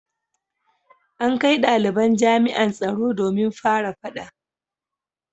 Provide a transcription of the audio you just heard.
An kai dalibin jami’an tsaro domin fara fada